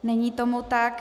Není tomu tak.